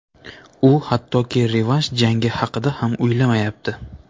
U hattoki revansh jangi haqida ham o‘ylamayapti.